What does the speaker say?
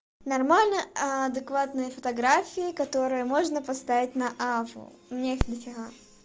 нормально адекватные фотографии которые можно поставить на аву у меня их дофига